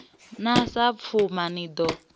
na sa pfuma ni ḓo